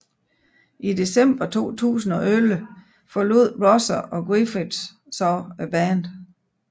I december 2011 forlod Rosser og Griffiths så bandet